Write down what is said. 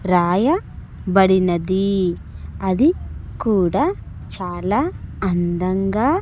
రాయబడినది అది కూడా చాలా అందంగా.